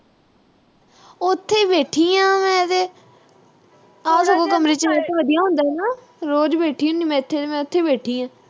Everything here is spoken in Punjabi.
ਉਥੇ ਹੀ ਬੈਠੀ ਆਂ ਮੈਂ ਤੇ। ਆ ਕਮਰੇ ਚ network ਵਧੀਆ ਆਉਂਦਾ ਨਾ। ਰੋਜ਼ ਬੈਠੀ ਹੁੰਨੀ ਮੈ ਇੱਥੇ। ਮੈਂ ਇਥੇ ਹੀ ਬੈਠੀ ਆਂ।